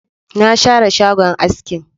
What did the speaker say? Na share shagon askin